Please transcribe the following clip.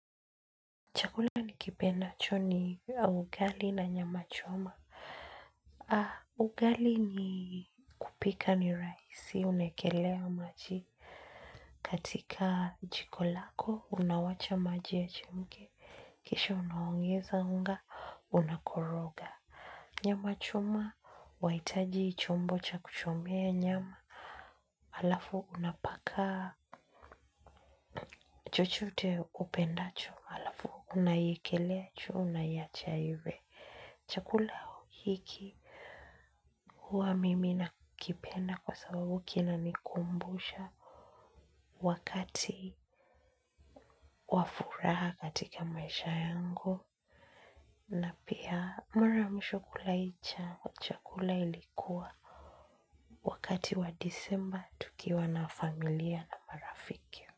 Chakula nikipendacho ni ugali na nyama choma. Ugali ni kupika ni rahisi. Unaekelea maji. Katika jiko lako, unawacha maji yachemke. Kisha unaongeza unga, unakoroga. Nyama choma, wahitaji chombo cha kuchomea nyama. Alafu unapaka chochote upendacho. Halafu unaikelea juu unaiacha iive. Chakula hiki huwa mimi nakipenda kwa sababu kinanikumbusha wakati wa furaha katika maisha yangu na pia mara ya mwisho kula hii chakula. Chakula ilikuwa wakati wa disemba tukiwa na familia na marafiki.